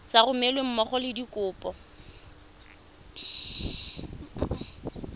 sa romelweng mmogo le dikopo